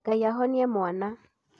Ngai ahonie mwans